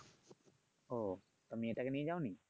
ও তা মেয়েটাকে নিয়ে যাওনি?